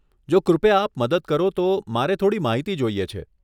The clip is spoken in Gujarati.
જો કૃપયા આપ મદદ કરો તો, મારે થોડી માહિતી જોઈએ છે.